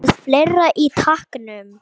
Með fleira í takinu